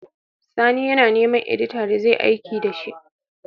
Sani ya na neman edita da zai aiki dashi